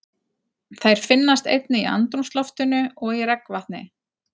Þær finnast einnig í andrúmsloftinu og í regnvatni.